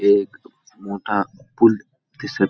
एक मोठा पूल दिसत --